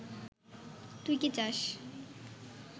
তুই কি চাস